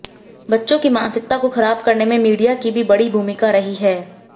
बच्चों की मानसिकता को खराब करने में मीडिया की भी बड़ी भूमिका रही है